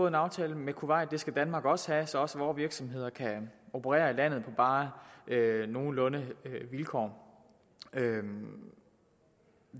en aftale med kuwait det skal danmark også have så også vore virksomheder kan operere i landet på bare nogenlunde vilkår vi